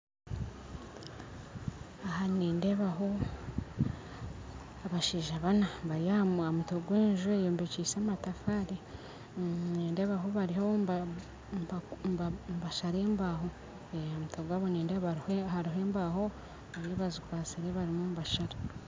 Aha nindeebaho abashaija bana bari aha mutwe gw'enju eyombekyise amatafaari nindeebaho bariho nibashara embaho aha mutwe gwaabo nindeeba hariho embaho bazikwatsire barimu nibashara